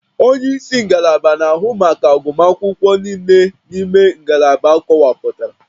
Onye isi ngalaba na-ahụ maka agụmakwụkwọ niile n'ime ngalaba akọwapụtara